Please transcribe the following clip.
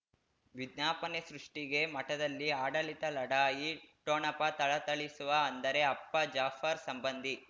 ವಿಜ್ಞಾಪನೆ ಸೃಷ್ಟಿಗೆ ಮಠದಲ್ಲಿ ಆಡಳಿತ ಲಢಾಯಿ ಠೊಣಪ ಥಳಥಳಿಸುವ ಅಂದರೆ ಅಪ್ಪ ಜಾಫರ್ ಸಂಬಂಧಿ